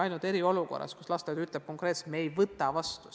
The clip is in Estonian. Alles eriolukorras on lasteaed hakanud konkreetselt ütlema, et me ei võta last vastu.